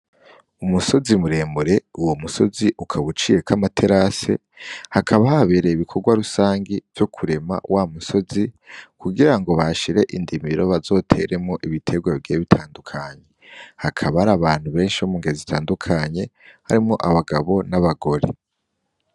Umusozi muremure uwo musozi ukaba uciyeko amaterase hakaba habereye ibikogwa rusangi vyokurema wa musozi kugirango bahashire indimiro bazoteremwo ibitegwa bigiye bitandukanye. Hakaba hari abantu benshi bo mungeri zitandukanye harimwo abagabo n'abagore.